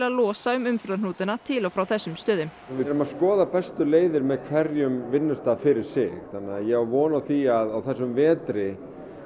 losa um umferðarhnútana til og frá þessum stöðum við erum að skoða bestu leiðir með hverjum vinnustað fyrir sig ég á von á því að á þessum vetri